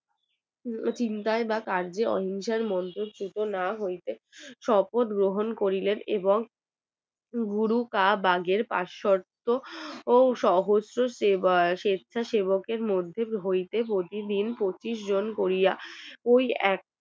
ও সহস্র সেবার স্বেচ্ছাসেবক এর মধ্যে হইতে প্রতিদিন পঁচিশ জন করিয়া ওই এক